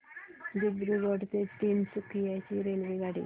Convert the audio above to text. दिब्रुगढ ते तिनसुकिया ची रेल्वेगाडी